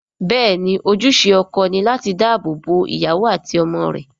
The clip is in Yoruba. Bẹ́ẹ̀ ni, ojúṣe ọkọ ni láti dáàbò bo ìyàwó àti àwọn ọmọ rẹ̀